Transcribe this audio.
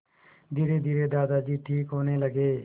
धीरेधीरे दादाजी ठीक होने लगे